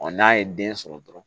n'a ye den sɔrɔ dɔrɔn